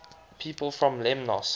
people from lemnos